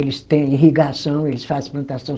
Eles têm irrigação, eles fazem plantação.